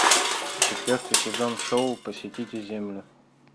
четвертый сезон шоу посетите землю